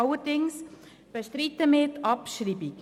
Allerdings bestreiten wir die Abschreibung.